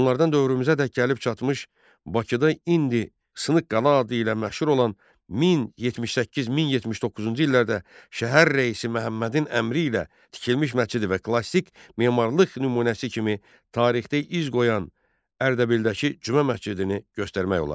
Bunlardan dövrümüzədək gəlib çatmış Bakıda indi Sınıq qala adı ilə məşhur olan 1078-1079-cu illərdə şəhər rəisi Məhəmmədin əmri ilə tikilmiş məscidi və klassik memarlıq nümunəsi kimi tarixdə iz qoyan Ərdəbildəki cümə məscidini göstərmək olar.